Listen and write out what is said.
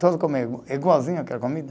Todos comem igualzinho aquela comida.